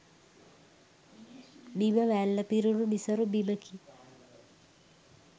බිම වැල්ල පිරුණු නිසරු බිමකි.